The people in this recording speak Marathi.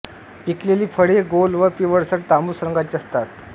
पिकलेली फळे गोल व पिवळसर तांबूस रंगाची असतात